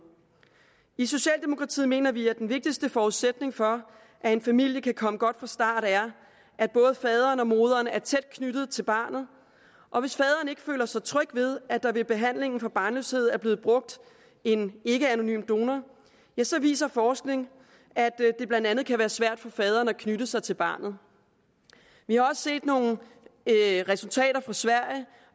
i socialdemokratiet mener vi at den vigtigste forudsætning for at en familie kan komme godt fra start er at både faderen og moderen er tæt knyttet til barnet og hvis faderen ikke føler sig tryg ved at der ved behandlingen for barnløshed er blevet brugt en ikkeanonym donor så viser forskning at det blandt andet kan være svært for faderen at knytte sig til barnet vi har også set nogle resultater fra sverige